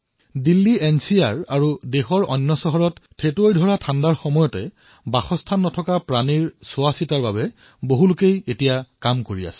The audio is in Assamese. দিল্লী এনচিআৰ আৰু দেশৰ অন্য চহৰত ঠেঁটুৱৈ লগা জাৰত অঘৰী পশুসকলৰ কল্যাণৰ বাবে বহুতে কিবাকিবি কৰিছে